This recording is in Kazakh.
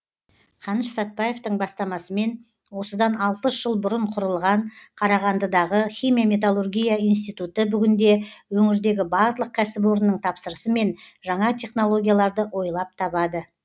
қаныш сәтбаевтың бастамасымен осыдан алпыс жыл бұрын құрылған қарағандыдағы химия металлургия институты бүгінде өңірдегі барлық кәсіпорынның тапсырысымен жаңа технологияларды ойлап табады